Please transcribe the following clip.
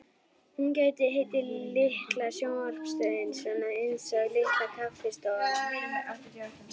Hún gæti heitið Litla sjónvarpsstöðin, svona einsog Litla kaffistofan.